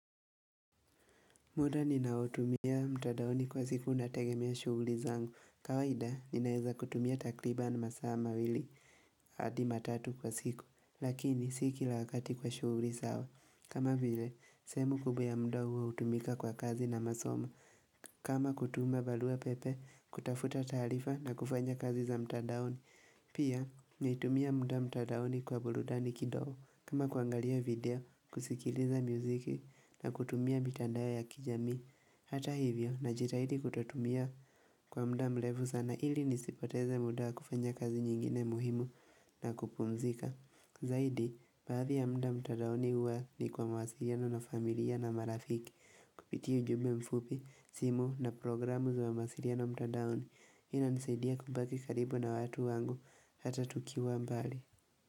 Muda ninaotumia mtadaoni kwa siku nategemea shughuli zangu. Kawaida, ninaeza kutumia takriban masaa mawili, hadi matatu kwa siku, lakini si kila wakati kwa shughuli zao. Kama vile, sehemu kubwa ya muda huo hutumika kwa kazi na masomo. Kama kutuma barua pepe, kutafuta taarifa na kufanya kazi za mtadaoni. Pia, naitumia mda mtadaoni kwa burudani kidogo. Kama kuangalia video, kusikiliza miziki na kutumia mitandao ya kijamii Hata hivyo na jitahidi kutotumia kwa mda mrefu sana ili nisipoteze muda kufanya kazi nyingine muhimu na kupumzika Zaidi, baadhi ya mda mtadaoni huwa ni kwa mawasiliano na familia na marafiki Kupitia ujumbe mfupi, simu na programu za mawasiliano mtadaoni hii ina nisadia kubaki karibu na watu wangu hata tukiwa mbali.